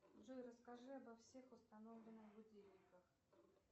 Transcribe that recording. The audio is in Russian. джой расскажи обо всех установленных будильниках